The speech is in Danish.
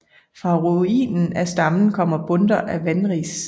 Fra ruinen af stammen kommer bundter af vanris